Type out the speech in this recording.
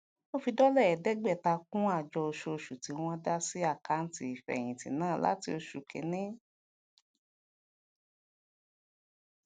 wón fi dólà èédégbàta kún àjọ oṣooṣu tí wón dá sí àkáàntì ìfèyìntì náà láti osù kíní